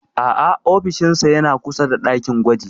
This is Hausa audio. A'a ofishinsa yana kusa da ɗakin gwaji.